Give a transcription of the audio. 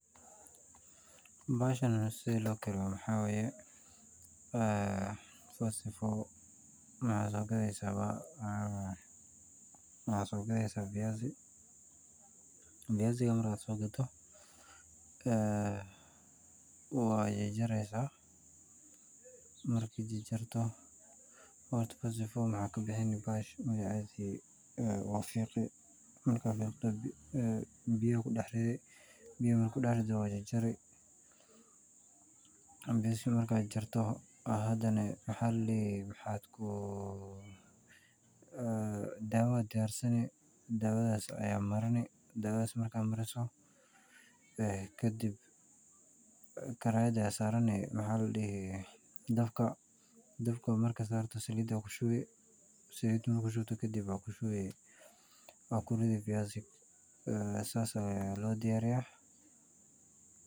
Bahashan sethi lokariyoh maxaway wa sifa maxa soqatheysah viazi , vizaika marka sogadoh ee wajajareysah marki jarjartoh horta sigi waxakabixini magacestha wafiqii, marka fiqdoh kadib biya kudaxrithi biya marki kudaxritoh wajarjari, dawa Aya diyarsani dawathasi Aya Maani marka marisoh kadib karayada Aya sarani dabka , daabka marka saarto kadib Salida Aya kushubi Salida marka kushubtoh kadib wakurithi fiyazzi sas Aya lo diyariyah .